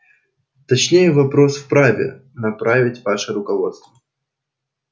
точнее запрос вправе направить ваше руководство